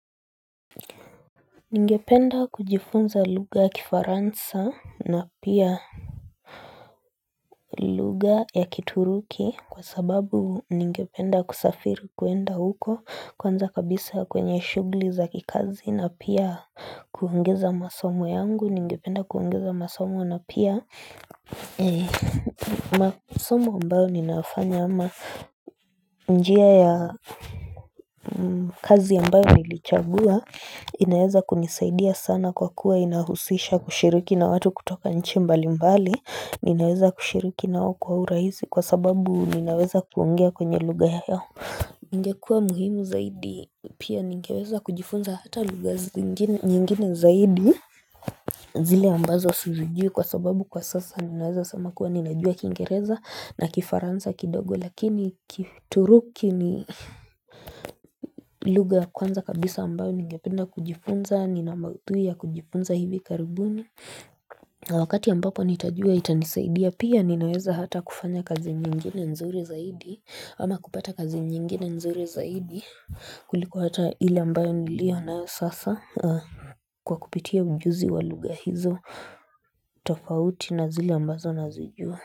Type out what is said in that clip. Ningependa kujifunza lugha ya kifaransa na pia lugha ya kituruki kwa sababu ningependa kusafiri kuenda huko kwanza kabisa kwenye shugli za kikazi na pia kuongeza masomo yangu ningependa kuongeza masomo na pia Eee, masomo ambayo ninafanya ama njia ya kazi ambayo nilichagua inaeza kunisaidia sana kwa kuwa inahusisha kushiriki na watu kutoka nchi mbali mbali Ninaweza kushiriki nao kwa urahisi kwa sababu ninaweza kuongea kwenye lugha yao Ningekuwa muhimu zaidi pia ningeweza kujifunza hata lugha zingine nyingine zaidi zile ambazo sisijui kwa sababu kwa sasa ninaweza sema kuwa ninajua kingereza na kifaransa kidogo lakini kitu ruki ni lugha ya kwanza kabisa ambayo ninge penda kujifunza nina mauthui ya kujifunza hivi karibuni na wakati ambapo nitajua itanisaidia pia ninaweza hata kufanya kazi nyingine nzuri zaidi ama kupata kazi nyingine nzuri zaidi kulikuwa ata ile ambayo nilio nayo sasa kwa kupitia ujuzi wa lugha hizo tofauti na zile ambazo nazijua.